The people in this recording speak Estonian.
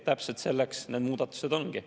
Täpselt selleks need muudatused ongi.